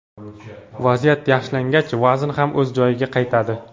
Vaziyat yaxshilangach vazn ham o‘z joyiga qaytadi.